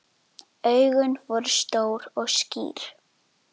Augun voru stór og skýr.